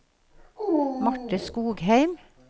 Marte Skogheim